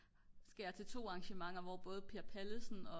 skal jeg til 2 arragnementer hvor både Per Pallesen og